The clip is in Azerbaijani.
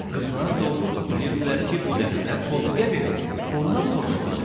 Qızlar doğrudu, bilirdilər ki, bu dərslər Tofiqə verilib, ondan soruşulacaq.